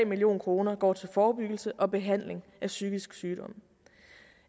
million kroner går til forebyggelse og behandling af psykisk sygdom